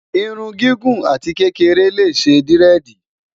irún gígùn àti kékeré lé ṣé diredi